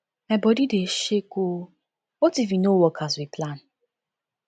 my body dey shake oo what if e no work as we plan